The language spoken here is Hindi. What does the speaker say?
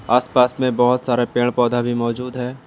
आसपास में बहुत सारे पेड़ पौधा भी मौजूद है।